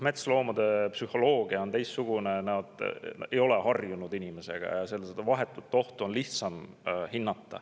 Metsloomade psüühika on teistsugune, nad ei ole inimesega harjunud ja vahetut ohtu on nende puhul lihtsam hinnata.